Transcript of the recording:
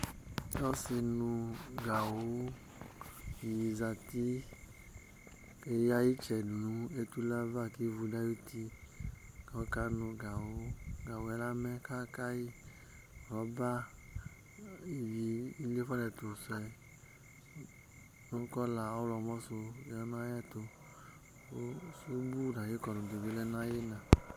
Ɔsɩnʋgawʋ dɩnɩ zati kʋ eyǝ ɩtsɛ nʋ etule ava kʋ ivu dʋ ayuti kʋ ɔkanʋ kawʋ Gawʋ yɛ amɛ kʋ aka yɩ Rɔba ivi iliefuǝ nʋ ɛtʋ sʋ yɛ nʋ kɔla ɔɣlɔmɔ sʋ ya nʋ ayɛtʋ kʋ sumbu nʋ ayʋ ɩkɔdʋ bɩ lɛ nʋ ayʋ ɩɣɩna